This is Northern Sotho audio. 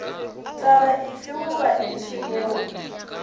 taba efe goba efe yeo